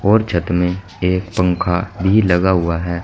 और छत में एक पंखा भी लगा हुआ है।